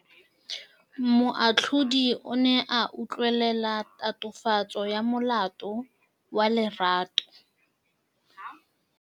Moatlhodi o ne a utlwelela tatofatsô ya molato wa Lerato.